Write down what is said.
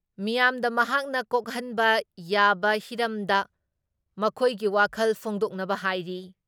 ꯃꯤꯌꯥꯥꯝꯗ ꯃꯍꯥꯛꯅ ꯀꯣꯛꯍꯟꯕ ꯌꯥꯕꯍꯤꯔꯝꯗ ꯃꯈꯣꯏꯒꯤ ꯋꯥꯈꯜ ꯐꯣꯡꯗꯣꯛꯅꯕ ꯍꯥꯏꯔꯤ ꯫